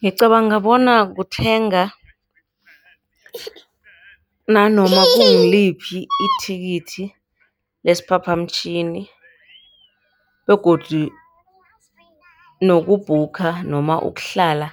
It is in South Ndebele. Ngicabanga bona kuthenga nanoma kungiliphi ithikithi lesiphaphamtjhini, begodu nokubhukha noma ukuhlala